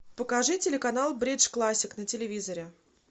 покажи телеканал бридж классик на телевизоре